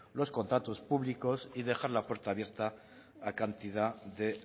los contratos públicos y dejar la puerta abierta a cantidad de